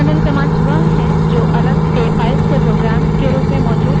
external commands वह है जो अलग से files या programs के रूप में मौजूद है